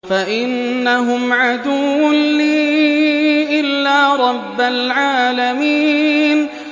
فَإِنَّهُمْ عَدُوٌّ لِّي إِلَّا رَبَّ الْعَالَمِينَ